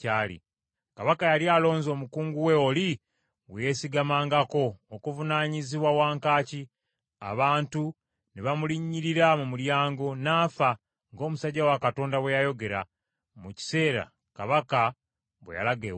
Kabaka yali alonze omukungu we oli gwe yeesigamangako, okuvunaanyizibwa wankaaki, abantu ne bamulinnyiririra mu mulyango, n’afa, ng’omusajja wa Katonda bwe yayogera, mu kiseera kabaka bwe yalaga ewuwe.